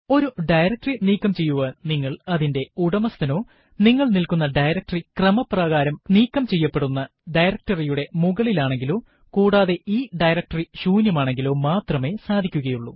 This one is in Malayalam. ഒരു ഡയറക്ടറി നീക്കം ചെയ്യുവാൻ നിങ്ങൾ അതിന്റെ ഉടമസ്ഥനോ നിങ്ങൾ നില്ക്കുന്ന ഡയറക്ടറി ക്രമപ്രകാരം നീക്കം ചെയ്യേണ്ടുന്ന ഡയറക്ടറി യുടെ മുകളിലാനെങ്ങിലോ കൂടാതെ ഈ ഡയറക്ടറി ശൂന്യമാനെങ്കിലോ മാത്രമേ സാധിക്കുകയുള്ളൂ